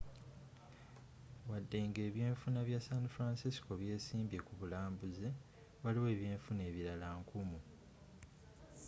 wadde nga ebyenfuna bya san francisco byesimbye ku bulambuzi waliwo ebyenfuna ebilala nkumu